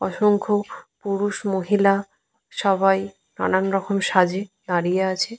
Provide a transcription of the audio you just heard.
অসংখ্য পুরুষ মহিলা সবাই নানানরকম সাজে দাঁড়িয়ে আছে।